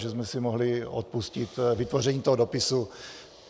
Takže jsme si mohli odpustit vytvoření toho dopisu.